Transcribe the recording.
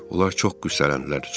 Onlar çox qüssələndilər.